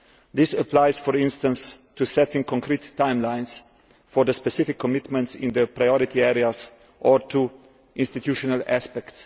This applies, for instance, to setting concrete timelines for the specific commitments in the priority areas, or to institutional aspects.